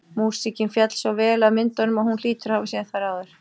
Músíkin féll svo vel að myndunum að hún hlýtur að hafa séð þær áður.